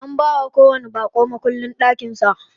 Ana bawa kowanni baƙo mukullin ɗakin sa.